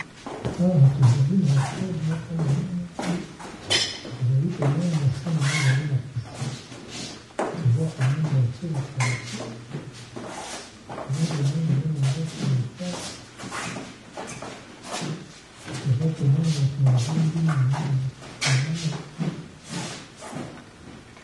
Awa tozali na hotel moko ya monene tozali komona na se na yango ezali na piscine toza komona batie ba para pluie toza komona eza na ndako ya etage toza komona bato bavandi na mayi